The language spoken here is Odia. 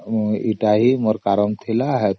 ଏଇ ଗୋଟିଏ ହଁ କାରଣ ଥିଲା